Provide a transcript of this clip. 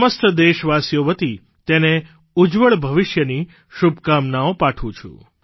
સમસ્ત દેશવાસીઓ વતી તને ઉજ્જવળ ભવિષ્યની શુભકામના પાઠવું છું